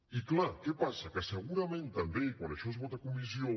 i clar què passa que segurament també quan això es vota a comissió